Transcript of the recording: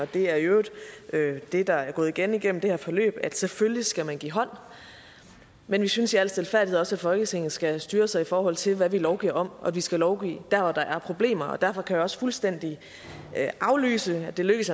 det er i øvrigt det der er gået igen igennem det her forløb at selvfølgelig skal man give hånd men vi synes i al stilfærdighed også at folketinget skal styre sig i forhold til hvad vi lovgiver om og at vi skal lovgive der hvor der er problemer og derfor kan jeg også fuldstændig aflyse jeg lykkes